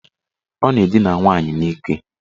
Ọ na-edina nwaanyị n'ike.